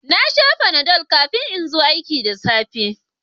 Na sha Panadol kafin in zo aiki da safe